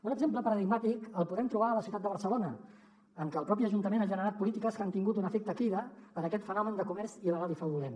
un exemple paradigmàtic el podem trobar a la ciutat de barcelona en què el propi ajuntament ha generat polítiques que han tingut un efecte crida per a aquest fenomen de comerç il·legal i fraudulent